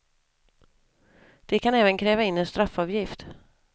De kan även kräva in en straffavgift.